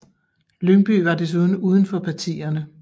Lyngbye var desuden uden for partierne